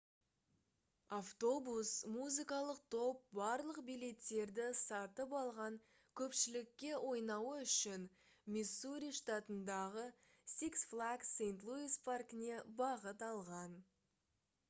автобус музыкалық топ барлық билеттерді сатып алған көпшілікке ойнауы үшін миссури штатындағы six flags st louis паркіне бағыт алған